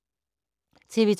TV 2